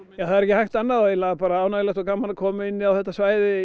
er ekki hægt annað bara ánægjulegt og gaman að koma inn á þetta svæði